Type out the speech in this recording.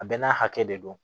A bɛɛ n'a hakɛ de don